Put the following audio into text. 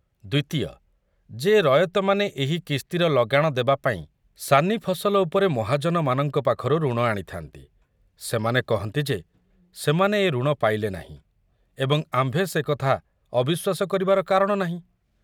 ଦ୍ୱିତୀୟ, ଯେ ରୟତମାନେ ଏହି କିସ୍ତିର ଲଗାଣ ଦେବାପାଇଁ ସାନି ଫସଲ ଉପରେ ମହାଜନମାନଙ୍କ ପାଖରୁ ଋଣ ଆଣିଥାନ୍ତି, ସେମାନେ କହନ୍ତି ଯେ ସେମାନେ ଏ ଋଣ ପାଇଲେ ନାହିଁ, ଏବଂ ଆମ୍ଭେ ସେ କଥା ଅବିଶ୍ୱାସ କରିବାର କାରଣ ନାହିଁ।